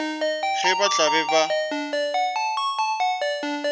ge ba tla be ba